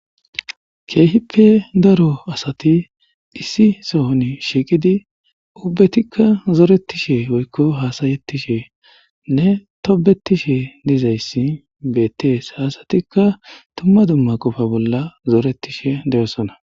keehippe daro asati issi sohon shiiqidi ubbetikka zoretishe oykko haasayetishe nne tobetishe dizayssi beettees asatikka tumma dumma qofa bolla zoretishe de'osona.